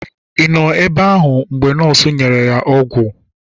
kedu ebe ahu mgbe ha nurse nyere ya ogwu ogwu?